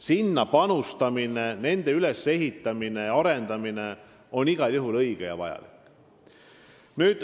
Sinna panustamine, nende ülesehitamine ja arendamine on igal juhul õige ja vajalik.